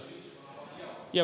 Jaa.